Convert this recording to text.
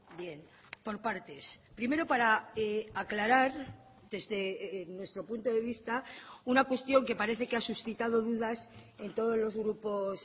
bien por partes primero para aclarar desde nuestro punto de vista una cuestión que parece que ha suscitado dudas en todos los grupos